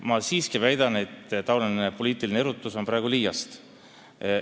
Ma siiski väidan, et selline poliitiline erutus on praegu liiast.